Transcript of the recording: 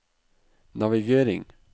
navigering